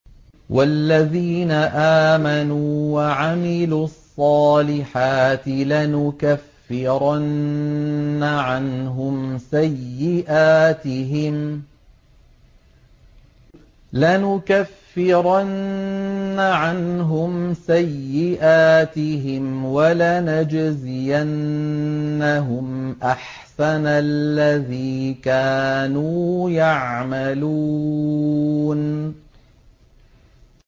وَالَّذِينَ آمَنُوا وَعَمِلُوا الصَّالِحَاتِ لَنُكَفِّرَنَّ عَنْهُمْ سَيِّئَاتِهِمْ وَلَنَجْزِيَنَّهُمْ أَحْسَنَ الَّذِي كَانُوا يَعْمَلُونَ